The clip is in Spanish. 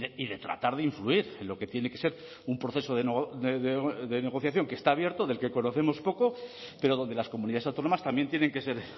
y de tratar de influir en lo que tiene que ser un proceso de negociación que está abierto del que conocemos poco pero donde las comunidades autónomas también tienen que ser